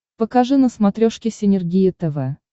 покажи на смотрешке синергия тв